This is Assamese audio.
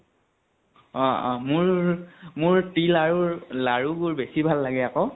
অ অ মোৰ মোৰ তিল আৰু লাৰুবোৰ বেছি ভাল লাগে আকৌ।